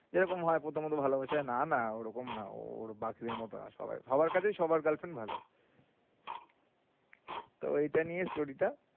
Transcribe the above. এরকম হয় প্রথম প্রথম ভালোবাসায় না না ও ওরকম না ও হাবার কাছে সবার girlfriend ভালো। তো ঐটা নিয়েই story টা।